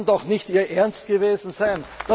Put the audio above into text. Das kann doch nicht Ihr Ernst gewesen sein!